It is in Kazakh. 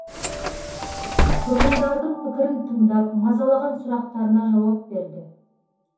тұрғындардың пікірін тыңдап мазалаған сұрақтарына жауап берді